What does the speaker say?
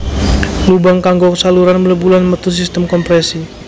Lubang kanggo saluran mlebu lan metu sistem komprèsi